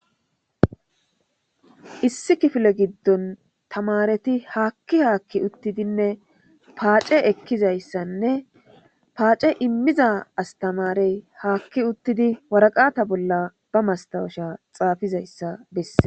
Issi kifile giddon tamareti haakki haakki uttidinne paace ekkizayssanne paace immiza astamarey haakki uttidi waraqata bolla ba mastawusha xaafizayssa bessee